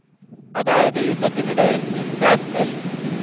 അതായത് യുദ്ധത്തിനിടയിൽ INSAS L.